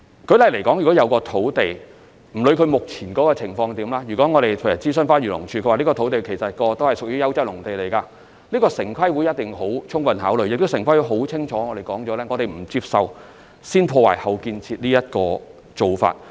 不論一塊土地目前的情況如何，如果我們在諮詢漁農自然護理署後得知該幅土地過往是優質農地，城規會一定會充分考慮，亦已清楚表明不接受"先破壞、後建設"的做法。